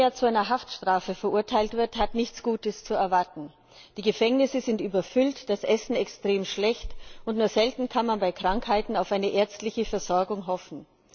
Wer in Nigeria zu einer Haftstrafe verurteilt wird, hat nichts Gutes zu erwarten. Die Gefängnisse sind überfüllt, das Essen extrem schlecht und nur selten kann man bei Krankheiten auf eine ärztliche Versorgung hoffen.